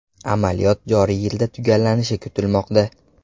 Amaliyot joriy yilda tugallanishi kutilmoqda.